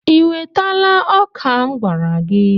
I wetala ọka m gwara gị?